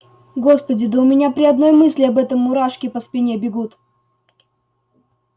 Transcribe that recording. господи да у меня при одной мысли об этом мурашки по спине бегут